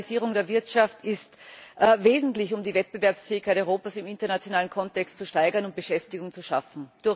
Die Digitalisierung der Wirtschaft ist wesentlich, um die Wettbewerbsfähigkeit Europas im internationalen Kontext zu steigern und Beschäftigung zu schaffen.